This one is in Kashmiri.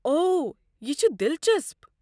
اوہ، یہِ چھُ دِلچسپ۔